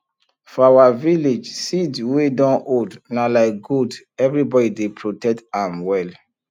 for our village seed wey don old na like gold everybody dey protect am well